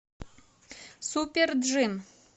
супер джим